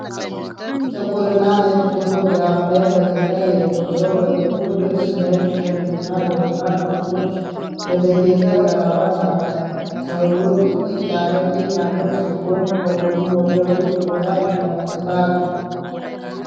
ጥቁር እና ነጭ ፎቶግራፍ ላይ ፈገግታ የሌለው ሰው በጥቁር ልብስ፣ ነጭ ሸሚዝና በደማቅ ነጥቦች በተጌጠ ክራባት አለ። ሰውየው ጥቅጥቅ ያለ ጢም ያለው ሲሆን ከጎኑ ወደ ሩቅ ቦታ ይመለከታል።